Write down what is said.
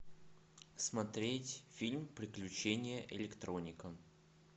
смотреть фильм приключения электроника